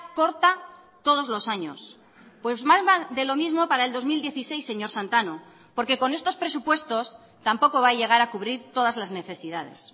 corta todos los años pues más de lo mismo para el dos mil dieciséis señor santano porque con estos presupuestos tampoco va a llegar a cubrir todas las necesidades